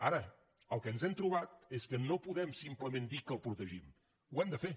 ara el que ens hem trobat és que no podem simplement dir que el protegim ho hem de fer